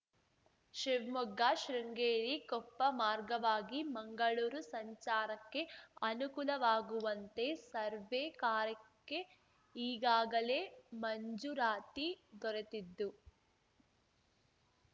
ಶಿವ್ಮೊಗ್ಗ ಶೃಂಗೇರಿ ಕೊಪ್ಪ ಮಾರ್ಗವಾಗಿ ಮಂಗಳೂರು ಸಂಚಾರಕ್ಕೆ ಅನುಕೂಲವಾಗುವಂತೆ ಸರ್ವೇ ಕಾರ್ಯಕ್ಕೆ ಈಗಾಗಲೇ ಮಂಜೂರಾತಿ ದೊರೆತಿದ್ದು